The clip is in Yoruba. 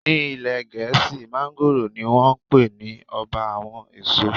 Ní ilé Gẹ̀ẹ́sì, mángóròò ni wón ń pe ní Ọba àwọn èso.